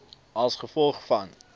a g v